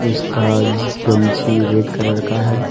इसका गमछी red colour का है।